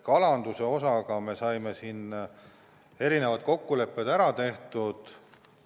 Kalanduse osas me saime erinevad kokkulepped ära tehtud.